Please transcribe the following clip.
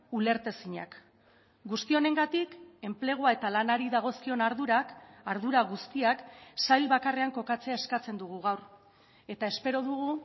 ulertezinak guzti honengatik enplegua eta lanari dagozkion ardurak ardura guztiak sail bakarrean kokatzea eskatzen dugu gaur eta espero dugu